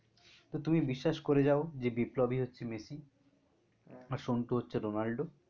তো তুমি বিশ্বাস করে যায় যে বিপ্লবী হচ্ছে মেসি আর সন্টু হচ্ছে রোনান্ডো